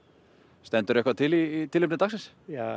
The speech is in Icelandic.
stendur eitthvað til í tilefni dagsins ja